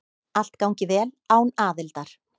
Allt gangi vel án aðildar.